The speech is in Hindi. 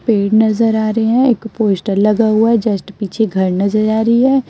पेड़ नजर आ रही है एक पोस्टर लगा हुआ है जस्ट पीछे घर नजर आ रही है।